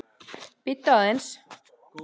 Bíddu aðeins